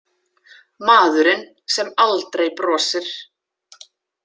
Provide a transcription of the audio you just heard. Maðurinn sem aldrei brosir.